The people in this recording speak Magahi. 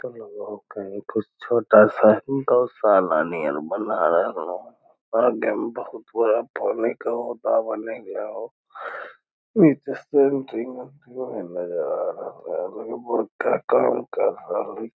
इ तो लगे हो कही कुछ छोटा सा ही गौशाला नियर बना रहलो हेय आगे में बहुत बड़ा पानी के होदा बनेएले होअ नीचे में सेट्रिंग नजर आ रहलो काम कर रहले।